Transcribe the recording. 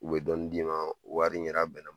U bɛ dɔɔnin d'i ma wari yɛrɛ bɛnna